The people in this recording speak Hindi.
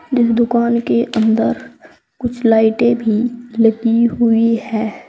जिस दुकान के अंदर कुछ लाइटें भी लगी हुई है।